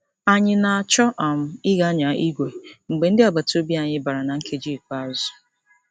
Anyị na-achọ um ịga nyaa igwe mgbe ndị agbataobi anyị bara na nkeji ikpeazụ.